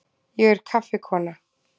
Ég er kaffikona.